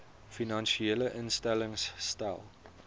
finansiële instellings stel